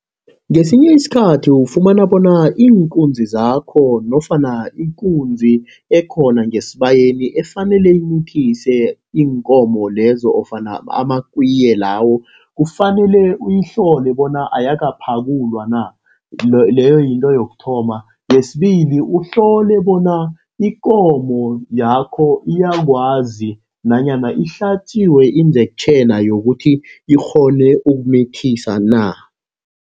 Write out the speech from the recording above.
Ngesinye isikhathi ufumana bona iinkunzi zakho, nofana ikunzi ekhona ngesibayeni efanele imithise iinkomo lezo ofana amakwiye lawo, kufanele uyihlole bona ayakaphakulwa na, leyo yinto yokuthoma. Yesibili uhlole bona ikomo yakho iyakwazi nanyana ihlatjiwe indektjheni, yokuthi ikghone ukumithisa na.